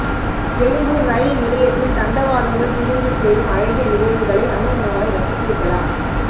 எழும்பூர் ரயில் நிலையத்தில் தண்டவாளங்கள் பிரிந்து சேரும் அழகிய நிகழ்வுகளை அனுஅனுவாய் ரசித்திருக்கிறீர்களா